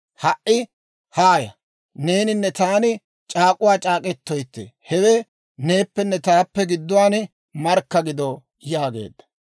Ha"i haaya; neeninne taani c'aak'uwaa c'aak'k'etoytte; hewe neeppenne taappe gidduwaan markka gido» yaageedda.